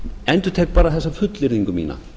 endurtek bara þessa fullyrðingu mína